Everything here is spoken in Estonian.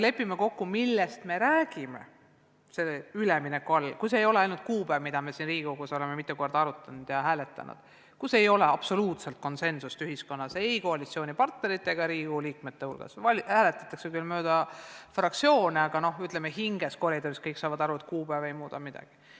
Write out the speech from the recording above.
Lepime kokku, millest me räägime selle ülemineku all, kui see ei ole ainult kuupäev, mida me siin Riigikogus oleme mitu korda arutanud ja hääletanud, kus ei ole absoluutselt konsensust ühiskonnas ei koalitsioonipartnerite ega Riigikogu liikmete hulgas – hääletatakse küll mööda fraktsioone ja arutatakse koridorides, aga hinges saavad kõik aru, et kuupäev ei muuda midagi.